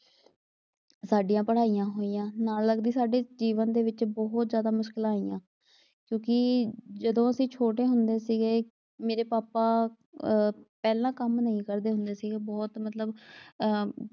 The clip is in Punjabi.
ਸਾਡੀਆਂ ਪੜ੍ਹਾਈਆਂ ਹੋਈਆਂ। ਨਾਲ ਲੱਗਦੇ ਸਾਡੇ ਜੀਵਨ ਦੇ ਵਿਚ ਬਹੁਤ ਮੁਸ਼ਕਿਲਾਂ ਆਈਆਂ। ਕਿਉਂਕਿ ਜਦੋਂ ਅਸੀਂ ਛੋਟੇ ਹੁੰਦੇ ਸੀਗੇ ਮੇਰੇ ਪਾਪਾ ਆ, ਪਹਿਲਾਂ ਕੰਮ ਨਹੀਂ ਕਰਦੇ ਹੁੰਦੇ ਸੀਗੇ। ਬਹੁਤ ਮਤਲਬ ਆ